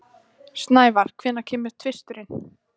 Snævar, hvenær kemur tvisturinn?